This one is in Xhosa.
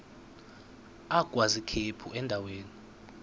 agwaz ikhephu endaweni